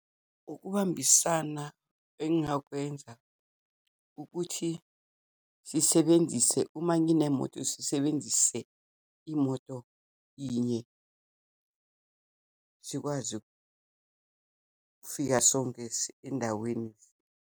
Ukubambisana engingakwenza ukuthi sisebenzise, uma nginemoto, sisebenzise imoto inye, sikwazi ukufika sonke endaweni.